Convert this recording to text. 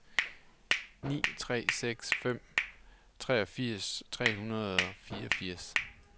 ni tre seks fem treogfirs tre hundrede og fireogfirs